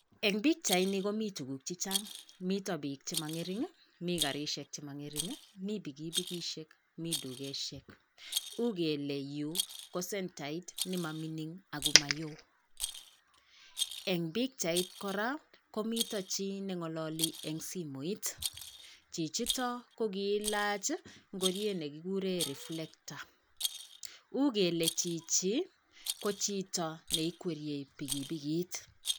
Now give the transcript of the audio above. eng bichain komii tuguk chechan, metaa biik che mangering , mii karishiek che mangering mitaa bikibikishek , mii dukeshek , uu kelee yuu kosentait nee ma mingin ago mayoo ,eng bichait koraa komitaa chii nengalali eng simoit chichiotok ko giilach ngori negiguree reflector, uuu kelee chichi ko chito ne ikwerye bikibikit